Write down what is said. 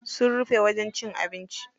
Sun rufe wajen cin abinci.